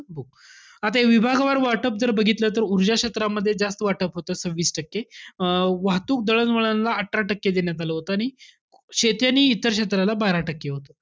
आता हे विभागवार वाटप जर बघितलं, तर ऊर्जा क्षेत्रामध्ये जास्त वाटप होतं, सव्हीस टक्के. अं वाहतूक दळणवळणला अठरा टक्के देण्यात आलं होतं. शेती आणि इतर क्षेत्राला बारा टक्के होतं.